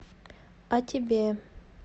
а тебе